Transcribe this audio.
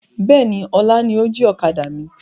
Bẹ́ẹ̀ni, ọlá ni ó jí ọ̀kadà mi.